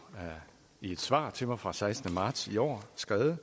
i et svar svar fra sekstende marts i år skrevet